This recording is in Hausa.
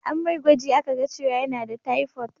An mai gwaji a ka ga cewa yana da taifot